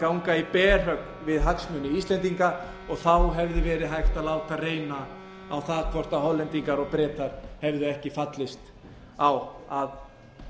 ganga í berhögg við hagsmuni íslendinga og þá hefði verið hægt að láta reyna á það hvort hollendingar og bretar hefðu ekki fallist á að